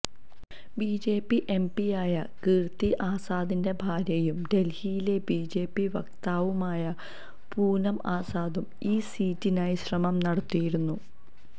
BJP എംപിയായ കീർത്തി ആസാദിന്റെ ഭാര്യയും ഡൽഹിയിലെ ബിജെപി വക്താവുമായി പൂനം ആസാദും ഈ സീറ്റിനായി ശ്രമം നടത്തിയിരുന്നു